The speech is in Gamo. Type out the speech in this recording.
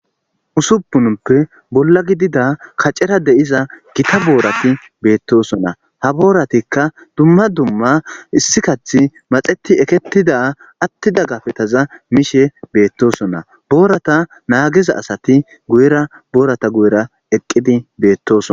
usuppunuppe bolla gidida kacera de'iza gita boorati beettosona ha booratikka dumma dumma issi kathi maxeti eketida attida gafetaza mishe beettosona boorata naagiza asati guyera boorata guyera eqqidi beettoson